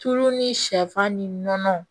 Tulu ni sɛfan ni nɔnɔ